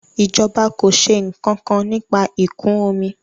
ìjọba kọ ṣe nkankan nípa ikun omi